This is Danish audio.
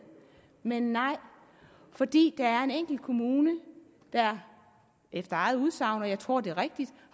men nej fordi der er en enkelt kommune der efter eget udsagn og jeg tror det er rigtigt